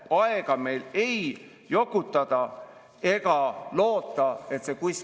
Praegu on kollektiivkaitse tõepoolest tööle hakkamas ja Eesti tõepoolest on oluliselt kasvatamas ja juba kasvatanud oma kaitsevõimet.